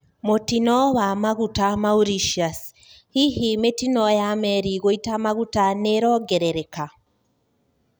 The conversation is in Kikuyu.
Mutino wa maguta Mauritius: Hihi, mitino ya meri guita maguta niuraongerereka?